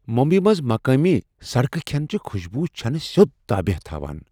مٗمبیی منٛز مقٲمی سڑکہ کھینٕچہِ خوشبوٗ چھنہٕ سیود تابٕیہ تھوان ۔